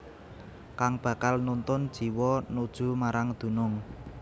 Kang bakal nuntun jiwa nuju marang dunung